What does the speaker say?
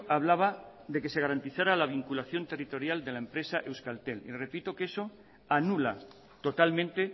hablaba de que se garantizara la vinculación territorial de la empresa euskaltel y le repito que eso anula totalmente